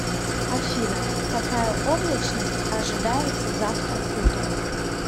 афина какая облачность ожидается завтра утром